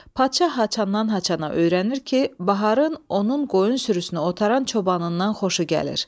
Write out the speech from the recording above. Padşah haçandan-haçana öyrənir ki, Baharın onun qoyun sürüsünü otaran çobanından xoşu gəlir.